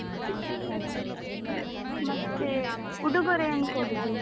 ಹ ಸರಿ. ಮತ್ತೆ, ಉಡುಗೊರೆ ಏನು ಕೊಡುದು?